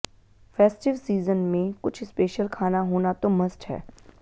festive season में कुछ special खाना होना तो मस्ट है